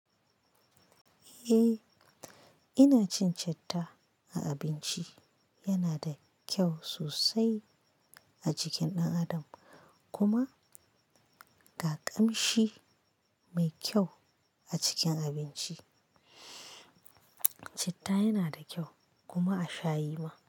Eh ina cin citta a abinci yana da kyau sosai a jikin ɗan adam kuma da ƙamshi mai kyau a cikin abinci. Citta yana da kyau kuma a sha yi ma.